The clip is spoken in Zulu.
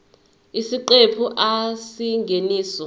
isiqephu a isingeniso